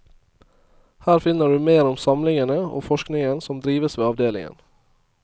Her finner du mer om samlingene og forskningen som drives ved avdelingen.